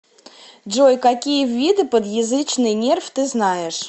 джой какие виды подъязычный нерв ты знаешь